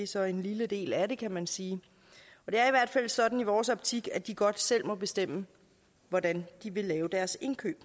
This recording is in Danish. så en lille del af det kan man sige det er i hvert fald sådan i vores optik at de godt selv må bestemme hvordan de vil lave deres indkøb